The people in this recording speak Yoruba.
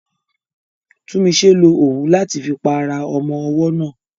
Tunmise lo òwú láti fi pa ara ọmọ ọwọ́ náà.